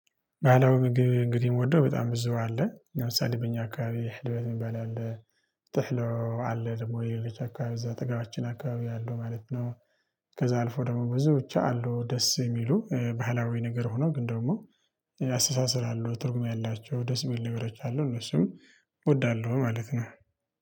ባህላዊ ምግብ እንግዲህ ምወደው በጣም ብዙ አለ ለምሳሌ በእኛ አካባቢ ህልበት ሚባል አለ ጥህሎ አለ ደግሞ የልጅ አካባቢ እዛ አጠገባችን አካባቢ ያለው ማለት ነው። ከዛ አልፎ ደግሞ ብዙ ብቻ አሉ ደስ የሚሉ ባህላዊ ነገር ሆኖ ግን ደግሞ ያስተሳስራሉ ትርጉም ያላቸው ደስ ሚሉ ነገሮች አሉ እነሱን እወዳለሁ ማለት ነው